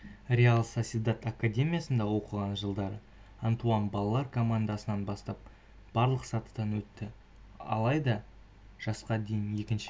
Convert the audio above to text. реал сосьедад академиясында оқыған жылдары антуан балалар командасынан бастап барлық сатыдан өтті алайда жасқа дейін екінші